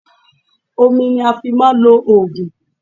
Omi ni a fi ń máa ń lo òògùn.